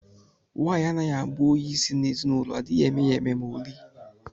Nwaanyị anaghị abụ onye isi na ezinụlọ adịghị eme ya eme ma oli